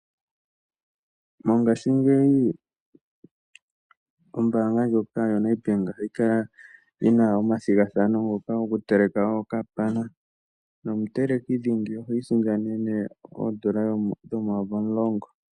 Mongashingeyi ombanga ndjoka yaNedbank ohayi kala yina omathigathano ngoka goku teleka okapana. Nomuteleki dhingi ohi isindanene oodollar dhoomayovi omulongo.